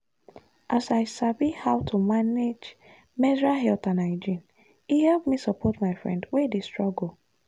as i sabi how to manage menstrual health and hygiene e help me support my friend wey dey struggle.